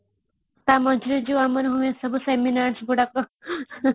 ତା ମଝିରେ ଯୋଉ ଆମର ଯୋଉ ଆମର seminars ଗୁଡ଼ାକ |